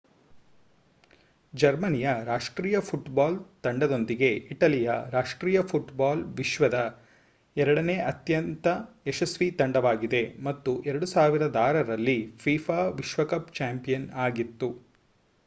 ಜರ್ಮನಿಯ ರಾಷ್ಟ್ರೀಯ ಫುಟ್ಬಾಲ್ ತಂಡದೊಂದಿಗೆ ಇಟಲಿಯ ರಾಷ್ಟ್ರೀಯ ಫುಟ್ಬಾಲ್ ವಿಶ್ವದ ಎರಡನೇ ಅತ್ಯಂತ ಯಶಸ್ವಿ ತಂಡವಾಗಿದೆ ಮತ್ತು 2006 ರಲ್ಲಿ fifa ವಿಶ್ವಕಪ್ ಚಾಂಪಿಯನ್ ಆಗಿತ್ತು